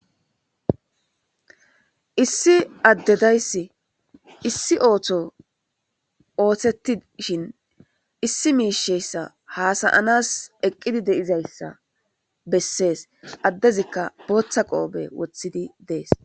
Issi addedayssi issi ootho ooththettishin issi miisheyssa hasayanas eqqidi deizayssa bessees addezikka booththa qoobe wothidi dees.